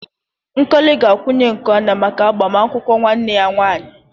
Nkokli ga-akwunye nku anya maka agbamakwụkwọ nwanne ya nwanyị